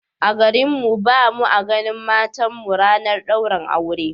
A garin mu ba mu a ganin matan mu ranar daurin aure